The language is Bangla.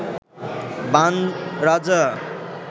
বাণ রাজা